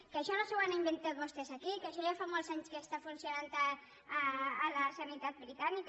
que això no s’ho han inventat vostès aquí que això ja fa molts anys que està funcionant a la sanitat britànica